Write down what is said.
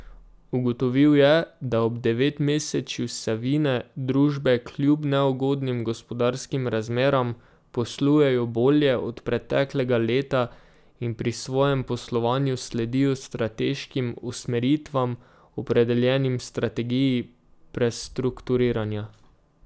Ugotovil je, da ob devetmesečju Savine družbe kljub neugodnim gospodarskim razmeram poslujejo bolje od preteklega leta in pri svojem poslovanju sledijo strateškim usmeritvam, opredeljenim v strategiji prestrukturiranja.